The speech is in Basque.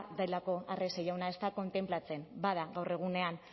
badelako arrese jauna ez da kontenplatzen bada gaur egunean